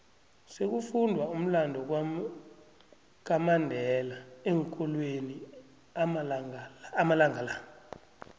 sekufundwa umlando kamandela eenkolweni amalanga la